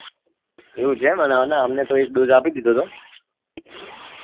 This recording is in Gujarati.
એવું છે અન અમને તો એક dose આપી ધીધો તો